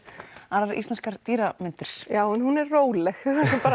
aðrar íslenskar dýramyndir já en hún er róleg